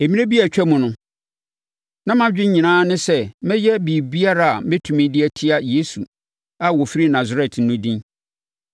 “Mmerɛ bi a atwam no, na mʼadwene nyinaa ne sɛ mɛyɛ biribiara a mɛtumi de atia Yesu a ɔfiri Nasaret no din.